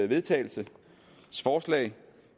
vedtagelse